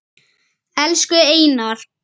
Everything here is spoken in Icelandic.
Elsku Einar.